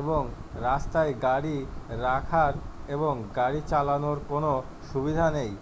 এবং রাস্তায় গাড়ি রাখার এবং গাড়ি চালানোর কোনও সুবিধা নেই